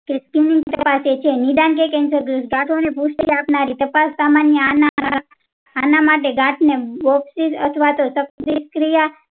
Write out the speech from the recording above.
તપાસે છે cancer છે ધાતો ને પુષ્ટિ આપનારી તાપસ સામાન્ય આના માટે ગાટને અથવા તો ક્રિયા